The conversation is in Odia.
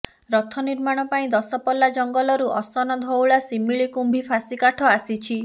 ରଥ ନିର୍ମାଣ ପାଇଁ ଦଶପଲ୍ଲା ଜଙ୍ଗଲରୁ ଅସନ ଧଉରା ଶିମିଳି କୁମ୍ଭି ଫାଶୀ କାଠ ଆସିଛି